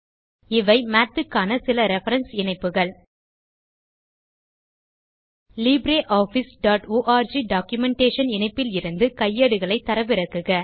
இவை மாத் க்கான சில ரெஃபரன்ஸ் இணைப்புகள் libreofficeஆர்க் டாக்குமென்டேஷன் இணைப்பிலிருந்து கையேடுகளை தரவிறக்குக